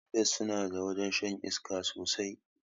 Maldives sunada wajrn shan iska sosai